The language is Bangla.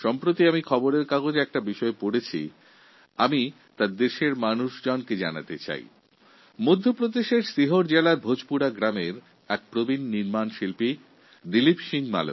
সম্প্রতি আমি একটি সংবাদপত্রে একটি বিষয় পড়ছিলাম যা আমি সমস্ত দেশবাসীর সঙ্গে ভাগ করে নিচ্ছি মধ্য প্রদেশের সিহোর জেলার ভোজপুরা গ্রামের দিলীপ সিং মালভিয়া নামে এক প্রবীণ কারিগর আছে